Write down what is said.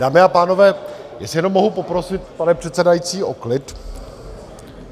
Dámy a pánové, jestli jenom mohu poprosit, pane předsedající, o klid.